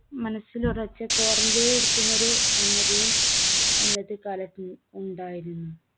മനസ്സിലൊറച്ച് quarantine ഇരിക്കുന്ന ഒരു സംഗതിയും അന്നത്തെ കാലത്ത് ഉ~ഉണ്ടായിരുന്നു.